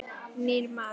Nýr maður.